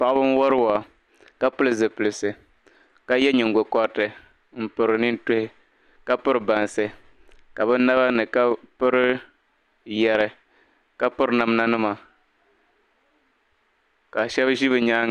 Paɣiba n wari waa . kapili zipilisi ka ye nyingo koriti kapiri bansi. kabinabani , kapiri yɛri kapiri namda nima. kashab zi ni nyaaŋa